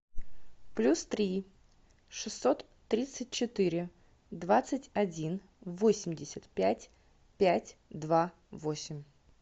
плюс три шестьсот тридцать четыре двадцать один восемьдесят пять пять два восемь